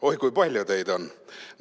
Oi, kui palju teid on!